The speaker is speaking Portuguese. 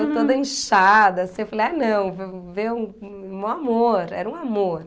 Eu toda inchada, assim, eu falei, ai, não, ve ver um um um amor, era um amor.